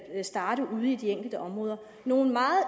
at starte ude i de enkelte områder nogle meget